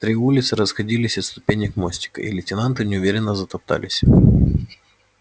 три улицы расходились от ступенек мостика и лейтенанты неуверенно затоптались